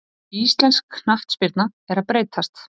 Íslensk knattspyrna er að breytast.